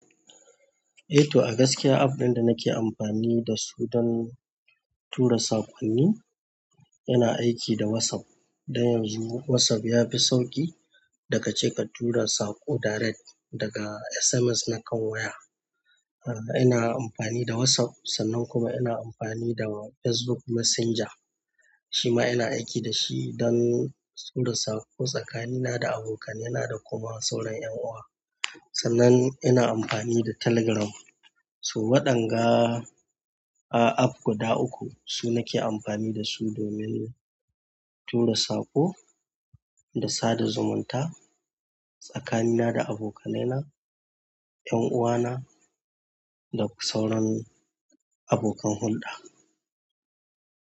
Eh to, a gaskiya app ɗin da nake amfani dasu don tura sakonni yana aiki da WhatsApp. Don yanzu WhatsApp yafi sauƙi daga cike ka tura saƙo direct daga SMS na kan waya. Ina amfani da WhatsApp sannan kuma ina amfani da Facebook Messenger. Shi ma ina aiki dashi don tura saƙo tsakanina da abokanaina da kuma sauran ƴan uwa. Sannan ina amfani da Telegram. Su waɗanga app guda uku, su nake amfani dasu domin tura saƙo da sada zumunta tsakanina da abokanai na, ƴan'uwana da sauran abokan hulɗa.